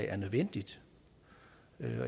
er nødvendigt